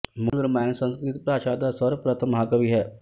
ਮੂਲ ਰਾਮਾਇਣ ਸੰਸਕ੍ਰਿਤ ਭਾਸ਼ਾ ਦਾ ਸਰਵਪ੍ਰਥਮ ਮਹਾਂਕਾਵਿ ਹੈ